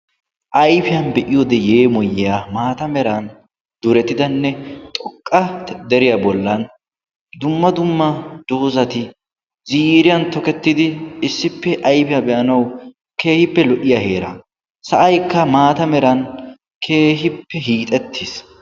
Ayfiya be'iyoode yeemoyiya maata meran durettidanne xoqqa deriya bollan dumma dumma doozati ziiriyaan tokkettidi issippe ayfiyaan be'anaw keehippe lo"iya heera. Sa'aykka maata meran keehippe hiixxetiis.